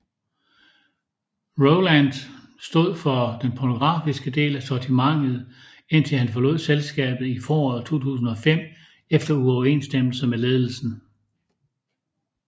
Roland stod for den pornografiske del af sortimentet indtil han forlod selskabet i foråret 2005 efter uoverensstemmelser med ledelsen